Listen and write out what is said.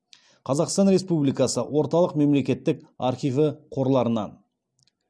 қазақстан республикасы орталық мемлекеттік архиві қорларынан